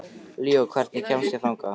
Líó, hvernig kemst ég þangað?